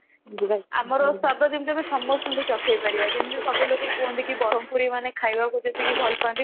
ଅମରର ସ୍ଵାଦ ଯେମିତି ଆମେ ସମସ୍ତଙ୍କୁ ଚଖେଇ ପାରିବା ଯେମିତି ସବୁ ଲୋକ କୁହନ୍ତୁ କି ବରମପୁରୀ ମାନେ ଖାଇବାକୁ ଯେତିକି ଭଲ ପାଆନ୍ତି